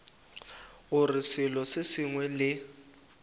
gore selo se sengwe le